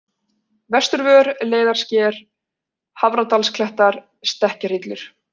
Vesturvör, Leiðarsker, Hafradalsklettar, Stekkjarhillur